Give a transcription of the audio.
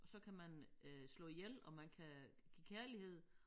Og så kan man øh slå ihjel og man kan give kærlighed